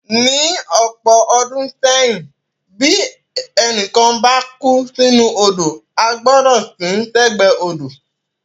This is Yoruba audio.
Ní ọ̀pọ̀ ọdún sẹ́yìn, bí ẹnì kan bá kú sínú odò, a gbọ́dọ̀ sin ín sẹ́gbẹ̀ẹ́ odò.